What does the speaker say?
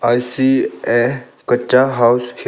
I see a kaccha house here.